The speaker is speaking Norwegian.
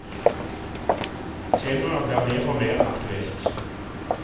Temaet blir mer og mer aktuelt.